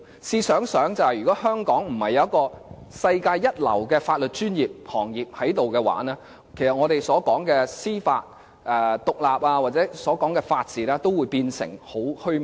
試想想，如果香港並非有世界一流的法律專業行業，其實我們所說的司法獨立或法治均會變成很虛幻。